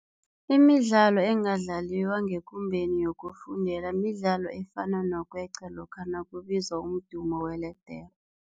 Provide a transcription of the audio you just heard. Imidlalo engadlaliwa ngekumbeni yokufundela midlalo efana nokweqa lokha nakubizwa umdumo weledere.